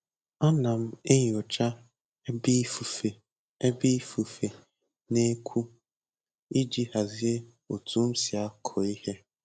Ana m enyocha ebe ifufe ebe ifufe na-eku iji hazie otu m si akụ ihe